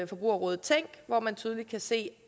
forbrugerrådet tænk hvor man tydeligt kan se